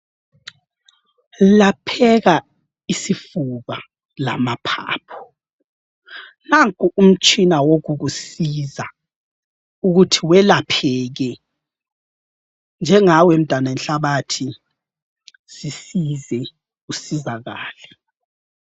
Lapheka isifuba lamaphapho. Nanko umtshina wokukusiza ukuthi welapheke. Njengawe mntanenhlabathi, zisize usizakale.